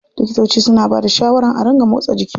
Likitoci suna bada shawaran a ringa motsa jiki.